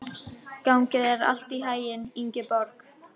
Gangi þér allt í haginn, Ingeborg.